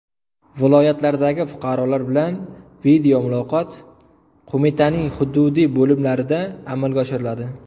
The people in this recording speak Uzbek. Viloyatlardagi fuqarolar bilan videomuloqot qo‘mitaning hududiy bo‘limlarida amalga oshiriladi.